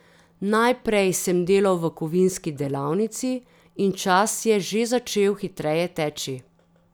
Najprej sem delal v kovinski delavnici in čas je že začel hitreje teči.